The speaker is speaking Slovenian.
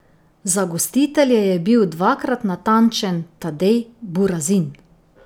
Za gostitelje je bil dvakrat natančen Tadej Burazin.